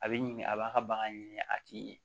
A bɛ ɲini a b'a ka bagan ɲini a tɛ ɲɛ